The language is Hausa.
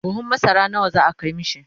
buhun masara nawa za'a Kai mishi?